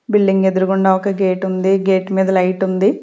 Building ఎదురుగుండా ఒక gate ఉంది గేట్ మీద లైట్ ఉంది.